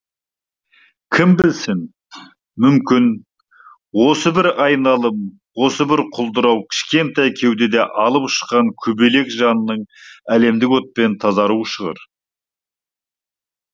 кім білсін мүмкін осы бір айналым осы бір құлдырау кішкентай кеудедегі алып ұшқан көбелек жанның әлемдік отпен тазаруы шығар